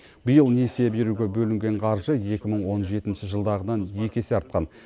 биыл несие беруге бөлінген қаржы екі мың он жетінші жылдағыдан екі есе артқан